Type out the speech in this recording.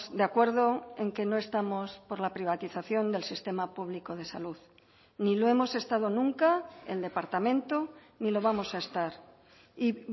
de acuerdo en que no estamos por la privatización del sistema público de salud ni lo hemos estado nunca el departamento ni lo vamos a estar y